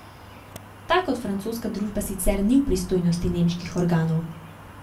Ta kot francoska družba sicer ni v pristojnosti nemških organov.